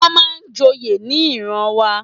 Wón máa ń joyè ní ìran wa.